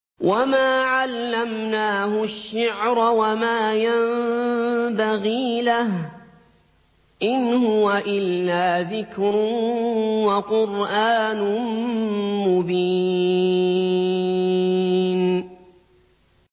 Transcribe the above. وَمَا عَلَّمْنَاهُ الشِّعْرَ وَمَا يَنبَغِي لَهُ ۚ إِنْ هُوَ إِلَّا ذِكْرٌ وَقُرْآنٌ مُّبِينٌ